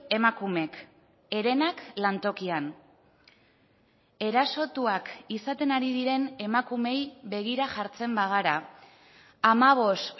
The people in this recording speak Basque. emakumek herenak lantokian erasotuak izaten ari diren emakumeei begira jartzen bagara hamabost